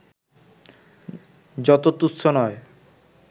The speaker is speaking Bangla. যত তু্চ্ছ নয়